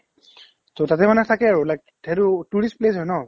তেওঁৰ তাতে মানে থাকে আৰু like সেইতো tourist place হয় ন